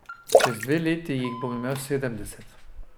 Čez dve leti jih bom imel sedemdeset.